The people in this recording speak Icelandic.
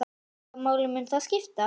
Hvaða máli mun það skipta?